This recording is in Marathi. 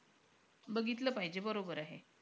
बघितलं पाहिजे. बरोबर आहे.